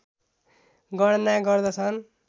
गणना गर्दछन्